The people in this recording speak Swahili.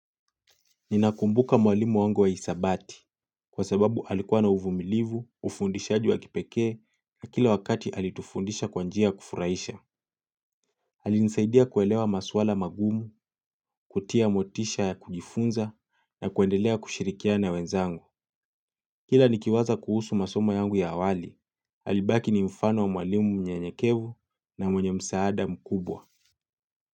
Ninakumbuka mwalimu wangu wa hisabati kwa sababu alikuwa na uvumilivu, ufundishaji wa kipekee na kila wakati alitufundisha kwa njia ya kufuraisha. Alinisaidia kuelewa maswala magumu, kutia motisha ya kujifunza na kuendelea kushirikiana na wenzangu. Kila nikiwaza kuhusu masomo yangu ya awali, alibaki ni mfano wa mwalimu mnyenyekevu na mwenye msaada mkubwa.